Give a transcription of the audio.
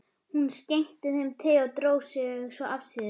Hún skenkti þeim te og dró sig svo afsíðis.